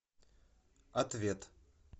ответ